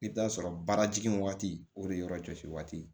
I bɛ t'a sɔrɔ baarajigin waati o de yɔrɔ jɔsi waati